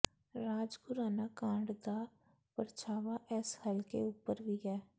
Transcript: ਰਾਜ ਖੁਰਾਨਾ ਕਾਂਡ ਦਾ ਪਰਛਾਵਾ ਇਸ ਹਲਕੇ ਉਪਰ ਵੀ ਹੈ